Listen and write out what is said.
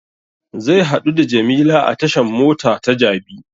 Zai haɗu da jamila a tashan mota ta jabi